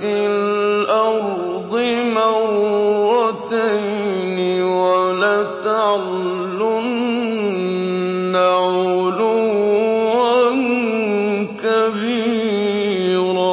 فِي الْأَرْضِ مَرَّتَيْنِ وَلَتَعْلُنَّ عُلُوًّا كَبِيرًا